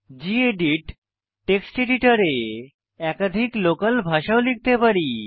gedit text এডিটরে একাধিক local ভাষা ও লিখতে পারি